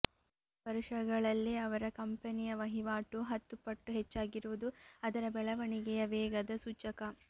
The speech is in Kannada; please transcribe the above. ಏಳು ವರುಷಗಳಲ್ಲೇ ಅವರ ಕಂಪೆನಿಯ ವಹಿವಾಟು ಹತ್ತು ಪಟ್ಟು ಹೆಚ್ಚಾಗಿರುವುದು ಅದರ ಬೆಳವಣಿಗೆಯ ವೇಗದ ಸೂಚಕ